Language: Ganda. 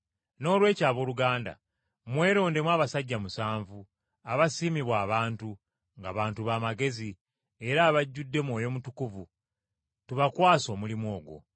Noolwekyo, abooluganda, mwerondemu abasajja musanvu, abasiimibwa abantu, ng’abantu b’amagezi, era abajjudde Mwoyo Mutukuvu, tubakwase omulimu ogwo.